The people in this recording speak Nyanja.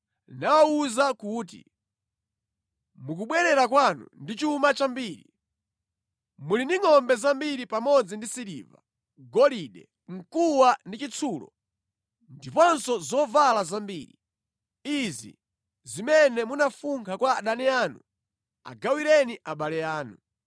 nawawuza kuti, “Mukubwerera kwanu ndi chuma chambiri. Muli ndi ngʼombe zambiri pamodzi ndi siliva, golide, mkuwa ndi chitsulo, ndiponso zovala zambiri. Izi zimene munafunkha kwa adani anu agawireni abale anu.”